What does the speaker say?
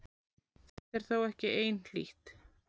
Þetta er þó ekki einhlítt.